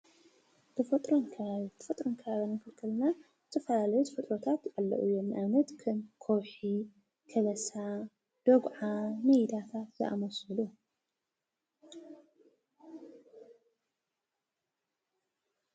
ተፈጥሮን ከባቢን፡- ተፈጥሮን ከባቢን ክንብል ከለና ዝተፈላለዩ ተፈጥሮታት ኣለዉ እዮም፡፡ ንኣብነት ከም ከውሒ፣ ከበሳ ፣ ደጉዓን ሜዳታትን ዝኣምሰሉ እዮም፡፡